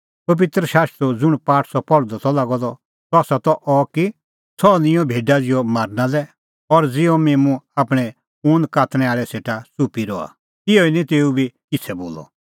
पबित्र शास्त्रो ज़ुंण पाठ सह पहल़दअ त लागअ द सह त अह कि सह निंयं भेडा ज़िहअ मारना लै और ज़िहअ मिम्मूं आपणैं ऊन कातणैं आल़ै सेटा च़ुप्पी रहा तिहअ ई निं तेऊ बी किछ़ै बोलअ